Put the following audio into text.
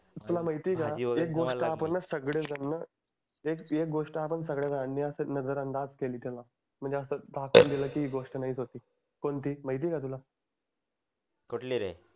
तुला माहिती आहे का एक गोष्ट आपण सगडेजन एक गोष्ट आपणा सगडेजणांनी अशी नजर अंदाज केली तेव्हा म्हणजे अस दाखऊन दिली की नाहीच होती कोणती माहिती आहे का तुला कुठली रे